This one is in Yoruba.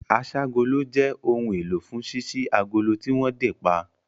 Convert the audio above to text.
Aṣ'ágolo jẹ́ ohun èlò fún ṣíṣí agolo tí wọ́n dè pa